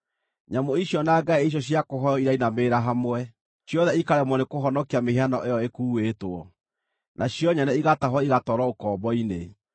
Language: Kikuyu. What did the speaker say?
Nyamũ icio na ngai icio cia kũhooywo irainamĩrĩra hamwe; ciothe ikaremwo nĩkũhonokia mĩhianano ĩyo ĩkuuĩtwo, nacio nyene igatahwo igatwarwo ũkombo-inĩ.